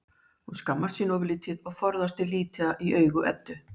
Hún skammast sín ofurlítið og forðast að líta í augu Eddu.